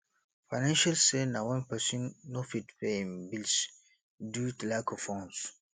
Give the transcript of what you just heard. financial strain na wen person no fit pay im bills due to lack of funds